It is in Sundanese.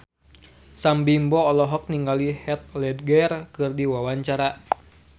Sam Bimbo olohok ningali Heath Ledger keur diwawancara